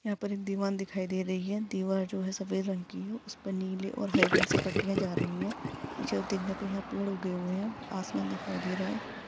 यहाँ पर एक दीवार दिखाई दे रही है दीवार जो है सफ़ेद रंग की है उसपे नीले और हरे रंग से पट्टीया जा रही है पीछे यहाँ पेड़ उगे हुये है आसमान दिखाई दे रहा है।